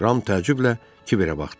Ram təəccüblə Kiberə baxdı.